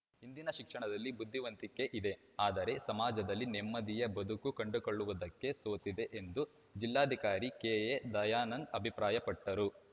ಇಂದಿನ ಶಿಕ್ಷಣದಲ್ಲಿ ಬುದ್ಧಿವಂತಿಕೆ ಇದೆ ಆದರೆ ಸಮಾಜದಲ್ಲಿ ನೆಮ್ಮದಿಯ ಬದುಕು ಕಂಡುಕೊಳ್ಳುವುದಕ್ಕೆ ಸೋತಿದೆ ಎಂದು ಜಿಲ್ಲಾಧಿಕಾರಿ ಕೆಎ ದಯಾನಂದ್‌ ಅಭಿಪ್ರಾಯಟ್ಟರು